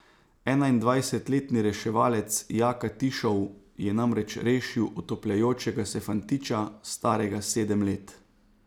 Enaindvajsetletni reševalec Jaka Tišov je namreč rešil utapljajočega se fantiča, starega sedem let.